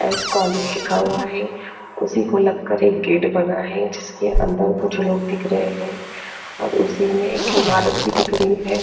S college लिखा हुआ हैं उसी को लग कर एक गेट बना हैं जिसके अंदर कुछ लोग दिख रहे हैं उसी में एक इमारत भी दिख रही हैं।